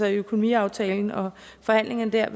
økonomiaftaler og forhandlingerne der jeg